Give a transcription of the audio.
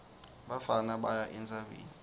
bafana baya entsabeni